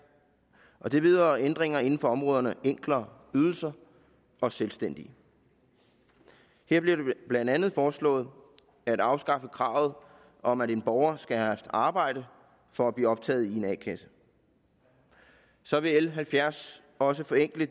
og det vedrører ændringer inden for områderne enklere ydelser og selvstændige her bliver det blandt andet foreslået at afskaffe kravet om at en borger skal have haft arbejde for at blive optaget i en a kasse så vil l halvfjerds også forenkle